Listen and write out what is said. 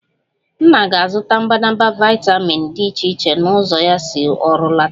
Nna ga-azụta mbadamba vitamin dị iche iche na ụzọ ya si ọrụ lọta